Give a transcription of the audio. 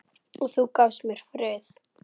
Og þú gafst mér frið.